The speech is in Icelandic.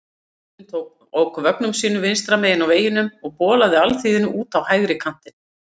Aðallinn ók vögnum sínum vinstra megin á vegunum og bolaði alþýðunni út á hægri kantinn.